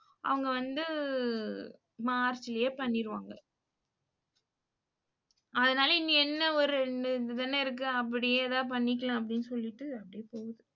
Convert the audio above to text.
அவங்க வந்து மார்ச்லேயே பண்ணிருவாங்க. அதுனால இனி என்ன ஒரு ரெண்டு இது தானே இருக்கு. அப்படியே எதா பண்ணிக்கலாம் அப்படினு சொல்லிட்டு அப்படியே போகுது.